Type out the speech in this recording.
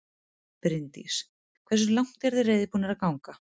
Bryndís: Hversu langt eruð þið reiðubúnir til þess að ganga?